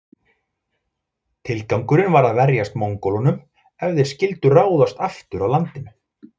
Tilgangurinn var að verjast Mongólunum ef þeir skyldu ráðast aftur að landinu.